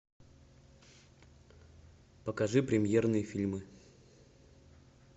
покажи премьерные фильмы